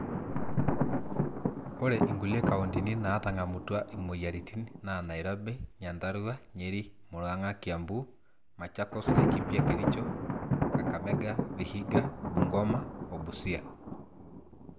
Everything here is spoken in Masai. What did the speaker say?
ore inkulie kauntini naatang'amutua imweyiaritin naa nairobi, nyandarua, nyeri, murang'a, kiambu, machakos, laikipia, kericho, kakamega, vihiga, bungoma o busia